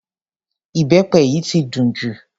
Ìbẹpẹ yìí ti dùn jù.